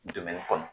kɔnɔ